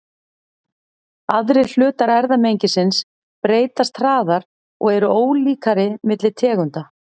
Aðrir hlutar erfðamengisins breytast hraðar og eru ólíkari milli tegunda.